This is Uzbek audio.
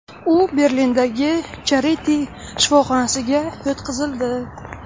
U Berlindagi Charite shifoxonasiga yotqizildi.